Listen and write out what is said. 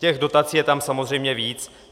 Těch dotací je tam samozřejmě víc.